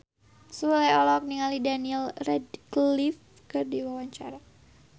Sule olohok ningali Daniel Radcliffe keur diwawancara